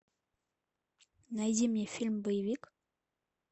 найди мне фильм боевик